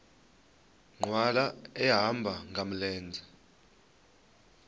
nkqwala ehamba ngamlenze